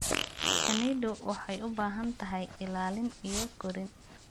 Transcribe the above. Shinnidu waxay u baahan tahay ilaalin iyo korin.